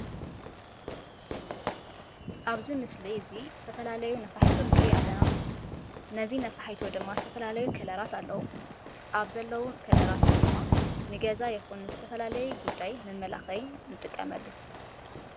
አብዚ ምስሊ እዚ ዝተፈላለዩ ነፋሒቶ ንርኢ ኣለና። እዚ ነፋሒቶ ድማ ዝተፈላለዩ ከለራት ኣለዉዎ። ኣብ ዘለዉ ከለራት ድማ ንገዛ ይኩን ንዝተፈላለየ ጉዳየ መመላኪዒ ንጥቀመሉ።